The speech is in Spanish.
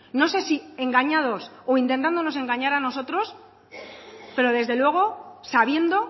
no sé si engañados o intentándonos engañar a nosotros pero desde luego sabiendo